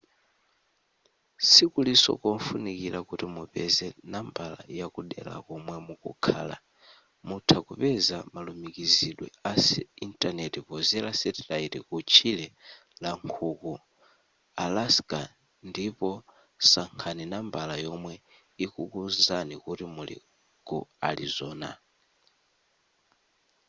sikuliso kofunikira kuti mupeze nambala yakudera komwe mukukhala mutha kupeza malumikizidwe a intaneti pozera satellite ku tchire la nkhuku alaska ndipo sankhani nambala yomwe ikukuwuzani kuti muli ku arizona